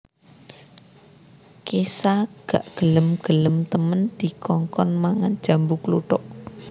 Kesha gak gelem gelem temen dikongkon mangan jambu kluthuk